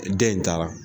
Den in taara